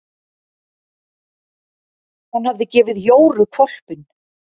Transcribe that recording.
Hann hafði gefið Jóru hvolpinn.